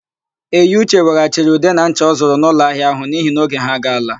Eyiuche weghachiri ude na ncha ọ zụrụ n'ụlọahịa áhụ̀ n'ihi na oge ha agaala.